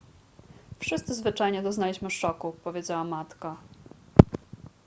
wszyscy zwyczajnie doznaliśmy szoku powiedziała matka